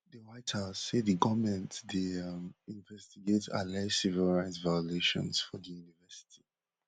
di white house say di goment dey um investigate alleged civil rights violations for di universities